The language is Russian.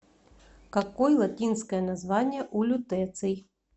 какой латинское название у лютеций